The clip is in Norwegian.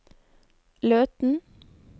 Løten